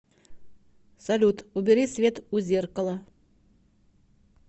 салют убери свет у зеркала